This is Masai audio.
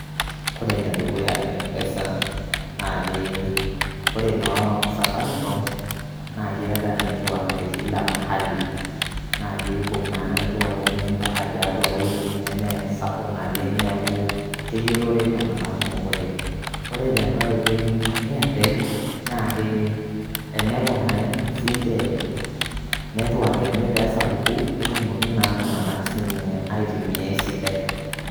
Kore ene dukuya mpesa naake kore naa safaricom naake eeta network te kila mahali naake ibung' naa network eney mpaka tiatua woitin nemee sapuk naleng',neku keyolore iltung'anak kunok oleng'. Kore tenkai oitoi Airtel, naake eneponari siinje network enye pee esapuku netumokini naa sinye aitumia esidai.